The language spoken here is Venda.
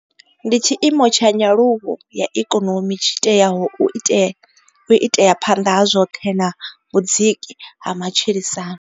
Ndi tshiimo tsha nyaluwo ya ikonomi tshi teaho u itea phanḓa ha zwoṱhe na vhudziki ha matshilisano.